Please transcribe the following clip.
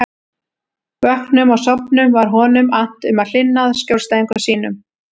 Vöknum og sofnum var honum annt um að hlynna að skjólstæðingum sínum.